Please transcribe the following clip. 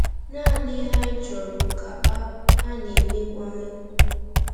Naanị ihe anyị chọrọ bụ ka a a na-emebu anyị.